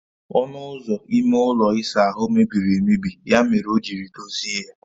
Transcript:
Onụ ụzọ ime ụlọ ịsa ahụ mebiri emebi ya mere ọ jiri dozie ya